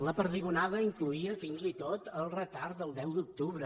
la perdigonada incloïa fins i tot el retard del deu d’octubre